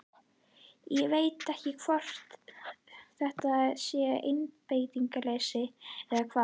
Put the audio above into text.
Ég veit ekki hvort þetta sé einbeitingarleysi eða hvað?